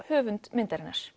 höfund myndarinnar